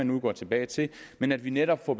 nu går tilbage til men at vi netop får